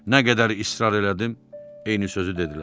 Nə qədər israr elədim, eyni sözü dedilər.